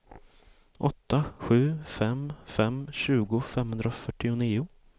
åtta sju fem fem tjugo femhundrafyrtionio